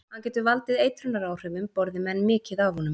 Hann getur valdið eitrunaráhrifum borði menn mikið af honum.